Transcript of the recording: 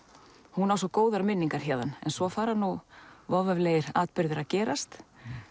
hún á svo góðar minningar héðan en svo fara nú voveiflegir atburðir að gerast